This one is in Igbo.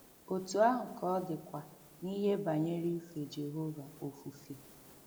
Otú ahụ ka ọ dịkwa n’ihe banyere ife Jehova ofufe.